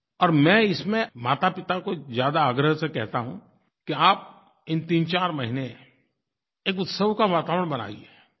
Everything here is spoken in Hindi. और मैं इसमें मातापिता को ज़्यादा आग्रह से कहता हूँ कि आप इन तीनचार महीने एक उत्सव का वातावरण बनाइए